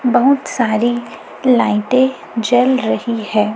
बहुत सारी लाइटें जल रही है।